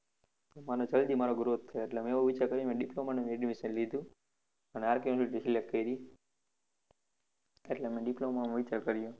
અને જલ્દી મારો growth થાય, મેં એવું વિચાર કરીને diploma માં admission લીધું, અને RK university select કરી, એટલે મેં diploma નો વિચાર કર્યો.